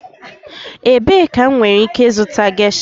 Ebee ka m nwere ike ịzụta gesha?